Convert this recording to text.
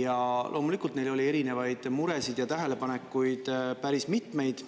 ja loomulikult neil oli erinevaid muresid ja tähelepanekuid päris mitmeid.